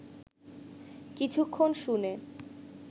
কিছুক্ষণ শুনে